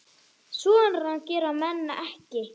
Svona gera menn ekki